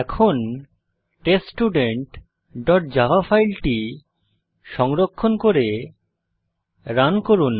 এখন test student dot java ফাইলটি সংরক্ষণ করে রান করুন